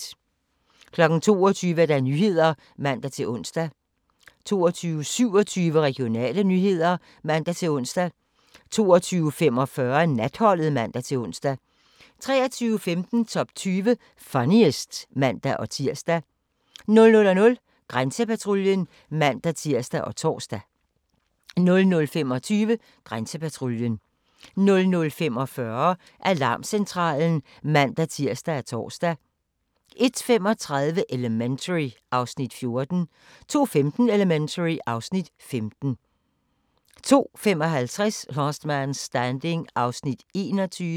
22:00: Nyhederne (man-ons) 22:27: Regionale nyheder (man-ons) 22:45: Natholdet (man-ons) 23:15: Top 20 Funniest (man-tir) 00:00: Grænsepatruljen (man-tir og tor) 00:25: Grænsepatruljen 00:45: Alarmcentralen (man-tir og tor) 01:35: Elementary (Afs. 14) 02:15: Elementary (Afs. 15) 02:55: Last Man Standing (21:24)